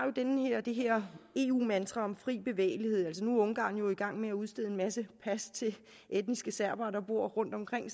det her eu mantra om fri bevægelighed nu er ungarn jo i gang med at udstede en masse pas til etniske serbere der bor rundtomkring